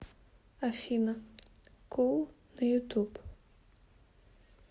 афина кул на ютуб